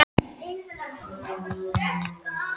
Sérðu hvernig manneskjan lítur út?